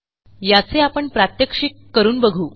याचे आपण प्रात्यक्षिक करून बघू